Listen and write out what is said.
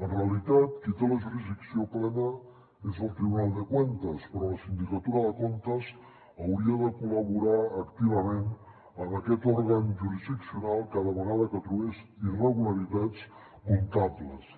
en realitat qui té la jurisdicció plena és el tribunal de cuentas però la sindicatura de comptes hauria de col·laborar activament amb aquest òrgan jurisdiccional cada vegada que trobés irregularitats comptables